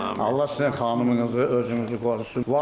Allah sizin xanımınızı, özünüzü qorusun.